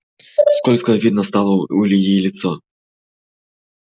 скользкое видно стало у ильи лицо